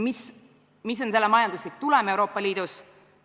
Mis on selle majanduslik tulem Euroopa Liidus?